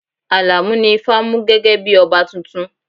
Alamu ni ifá mú gẹ́gẹ́ bí ọba tuntun